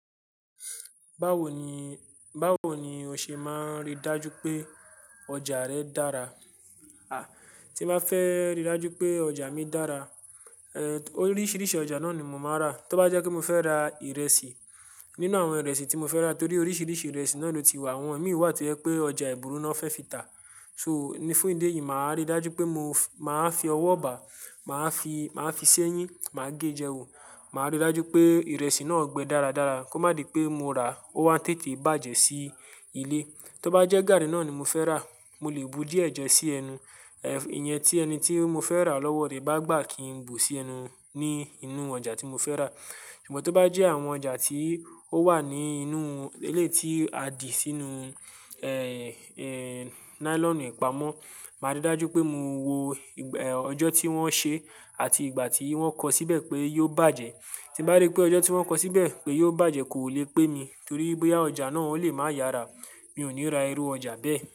Báwo ni, báwo ni o ṣe máa ríi dájú pé ọjà rẹ dára? A! Tí bá fẹ́ ríi dájú pé ọjà mi dára, eh, oríṣiríṣi ọjà náà ni mo máa n rà. Tó bá jẹ́ pé mó fẹ́ ra ìrẹsì, nínú àwọn ìrẹsì tí mo fẹ́ rà torí oríṣiríṣi ìrẹsì náà ló ti wà. Àwọn mìíràn wà tó yẹ pé ọjà ìbùrú náà fẹ́ fi tà. So, nífúnni dé yìí, màá ríi dájú pé mo máa fi ọwọ́ bà, màá fi, màá fi sẹ́yín, màá gé jẹ wò. Màá ríi dájú pé ìrẹsì náà gbẹ daradara kó má di pé mo rà ó wá ń tètè bàjẹ́ sí ilé. Tó bá jẹ́ gàrí náà ni mo fẹ́ rà, mo lè bu díẹ̀ jẹ̀ sí ẹnu. Eh, ìyẹn tí ẹni tí mo fẹ́ rà lọ́wọ́ ré bá gbà kí n bù sí ẹnu ní inú ọjà tí mo fẹ́ rà. Ṣùgbọ́n tó bá jẹ́ àwọn ọjà tí ó wà ní inú éléyi tí a dì sínú, eh, eh, nylon ipamọ, màá ríi dájú pé mo wo, eh, ọjọ́ tí wọ́n ṣe àti ìgbà tí wọ́n kọ síbẹ̀ pé yóò bàjẹ́. Tí bá rí pé ọjọ́ tí wọ́n kọ síbẹ̀ pé yóò bàjẹ́ kò lè pé mi torí bóyá ọjà náà ó lè máa yára, mi ò ní ra irú ọjà bẹ́ẹ̀